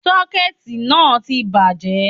Sọ́kẹ̀tì náà tí bàjẹ́